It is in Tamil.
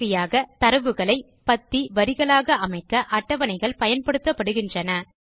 கடைசியாக தரவுகளை பத்தி வரிகளாக அமைக்க அட்டவணைகள் பயன்படுகின்றன